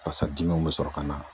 Fasadimiw be sɔrɔ ka na.